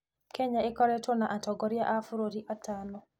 Kenya ĩkoretwo na atongoria a bũrũri atano.